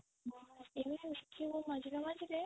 ଦେଖିବୁ ମଝିରେ ମଝିରେ